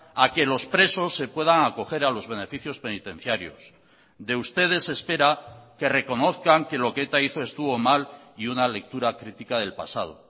a que los presos se puedan acoger a los beneficios penitenciarios de ustedes se espera que reconozcan que lo que eta hizo estuvo mal y una lectura crítica del pasado